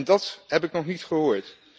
En dat heb ik nog niet gehoord.